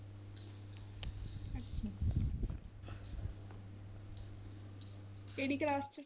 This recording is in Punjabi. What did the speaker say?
ਕਿਹੜੀ class ਚ?